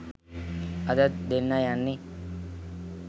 අදත් දෙන්න යන්නෙ